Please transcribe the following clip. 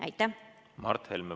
Mart Helme, palun!